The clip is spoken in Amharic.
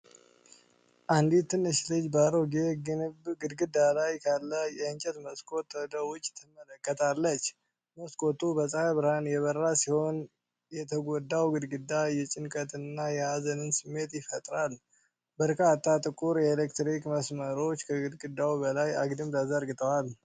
አንዲት ትንሽ ልጅ በአሮጌ ግንብ ግድግዳ ላይ ካለ የእንጨት መስኮት ወደ ውጭ ትመለከታለች። መስኮቱ በፀሐይ ብርሃን የበራ ሲሆን፣ የተጎዳው ግድግዳ የጭንቀትን እና የሀዘንን ስሜት ይፈጥራል። በርካታ ጥቁር የኤሌክትሪክ መስመሮች ከግድግዳው በላይ አግድም ተዘርግተዋል።